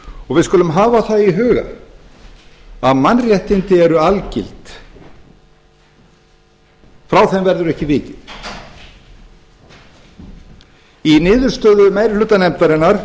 við skulum hafa það í huga að mannréttindi eru algild frá þeim verður ekki vikið í niðurstöðu meiri hluta nefndarinnar